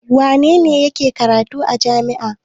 Wane ne yake karatu a jami'a?